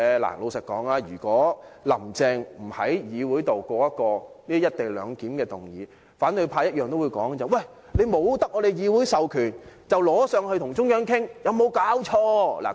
老實說，如果"林鄭"不提出在立法會通過"一地兩檢"的議案，反對派也會說她未得到議會授權，便呈請中央，有沒有搞錯？